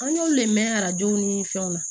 An y'olu le mɛn arajow ni fɛnw na